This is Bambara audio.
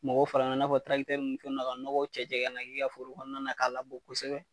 Mɔgɔ fara i n'a fɔ ninnu fɛn ninnu na ka nɔgɔ cɛ cɛ ka n'a k'i kaa foro kɔnɔna na k'a labɔ kosɛbɛ.